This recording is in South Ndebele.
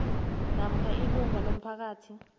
namkha ilungu lomphakathi